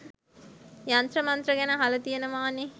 යන්ත්‍ර මන්ත්‍ර ගැන අහල තියෙනවනෙ